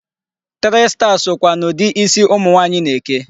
Three star sokwa n'ụdị isi ụmụ nwaanyị na-eke.